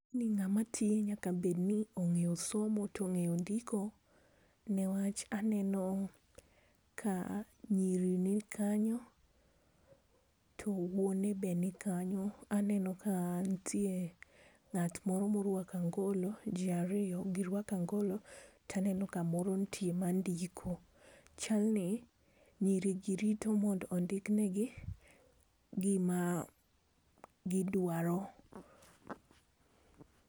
ni ng'ama tiyo nyaka bed ni ong'eyo somo to ong'eyo ndiko niwach aneno ka nyiri ni kanyo to wuone be ni kanyo ,aneno ka nitie ng'at moro moruako angalo ji ariyo gi ruako ang'alo, to aneno kamoro nitie ma ndiko, chalni nyiri gi rito mondo ondikne gi gima gidwaro.